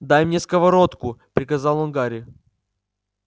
дай мне сковородку приказал он гарри